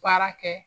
Baara kɛ